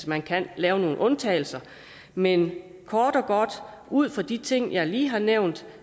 man kan lave nogle undtagelser men kort og godt vil ud fra de ting jeg lige har nævnt